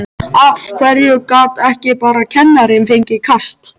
Af hverju gat ekki bara kennarinn fengið kast?